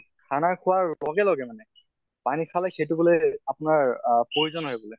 খানা খোৱাৰ লগে লগে মানে খালে সেইটো মানে আপনাৰ আহ poison হয় বুলে